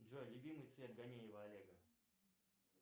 джой любимый цвет ганеева олега